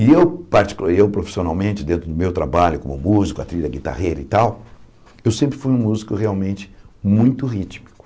E eu, particu e eu profissionalmente, dentro do meu trabalho como músico, a trilha, guitarrera e tal, eu sempre fui um músico realmente muito rítmico.